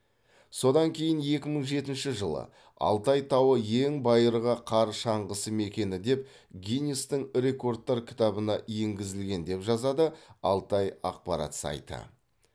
содан кейін екі мың жетінші жылы алтай тауы ең байырғы қар шаңғысы мекені деп гиннестің рекордтар кітабына енгізілген деп жазады алтай ақпарат сайты